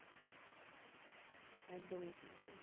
একদমই ঠিক বলেছ